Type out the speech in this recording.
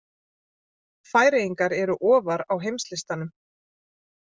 Færeyingar eru ofar á heimslistanum.